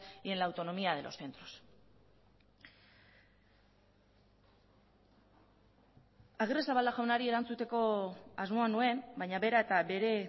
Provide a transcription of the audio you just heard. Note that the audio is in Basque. y en la autonomía de los centros agirrezabala jaunari erantzuteko asmoa nuen baina bera eta bere